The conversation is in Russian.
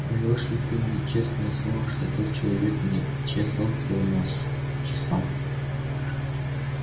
даёшь ли ты мне честное слово что тот человек не чесал твой нос чесал